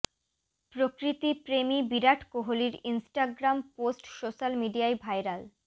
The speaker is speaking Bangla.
প্রকৃতি প্রেমী বিরাট কোহলির ইনস্টাগ্রাম পোস্ট সোশ্যাল মিডিয়ায় ভাইরাল